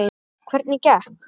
Hvernig gekk?